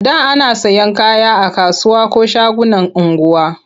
A da ana sayan kaya a kasuwa ko shagunan unguwa.